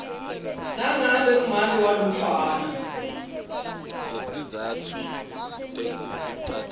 nangabe make walomntfwana